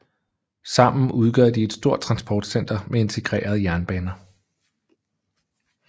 Sammen udgør de et stort transportcenter med integrerede jernbaner